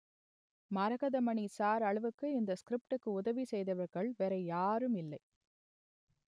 Maragathamani sir அளவுக்கு இந்த ஸ்கிரிப்டுக்கு உதவி செய்தவர்கள் வேற யாரும் இல்லை